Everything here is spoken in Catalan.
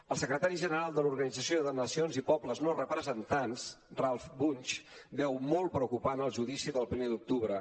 el secretari general de l’organització de nacions i pobles no representats ralph bunche veu molt preocupant el judici pel primer d’octubre